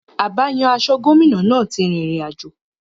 Abáyan-aṣọ gómìnà náà ti rin ìrìn àjò.